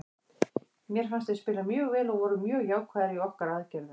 Mér fannst við spila mjög vel og vorum mjög jákvæðir í okkar aðgerðum.